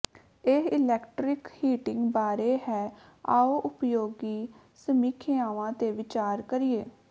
ਇਹ electric heating ਬਾਰੇ ਹੈ ਆਓ ਉਪਯੋਗੀ ਸਮੀਖਿਆਵਾਂ ਤੇ ਵਿਚਾਰ ਕਰੀਏ